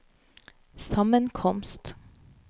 sammenkomst